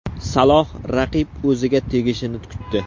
Saloh raqib o‘ziga tegishini kutdi.